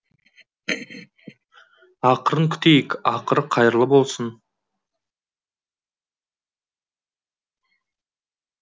ақырын күтейік ақыры қайырлы болсын